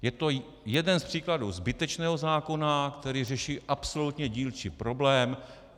Je to jeden z příkladů zbytečného zákona, který řeší absolutně dílčí problém.